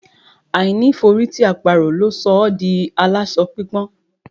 Àìní ìforítì àparò ló sọ ọ́ di aláṣọ pípọ́n.